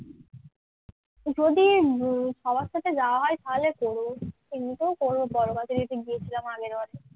যদি সবার সাথে যাওয়া হয় তাহলে করবো। এমনিতেও করবো বড় বাজারে তো গিয়েছিলাম আগের বার